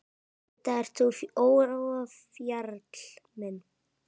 Enda ert þú ofjarl minn.